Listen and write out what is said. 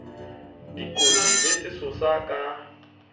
dikotsi le sesosa se ka